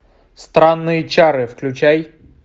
странные чары включай